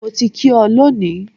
Mo ti kí ọ lónìí.